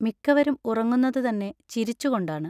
മിക്കവരും ഉറങ്ങുന്നതു തന്നെ ചിരിച്ചു കൊണ്ടാണ്.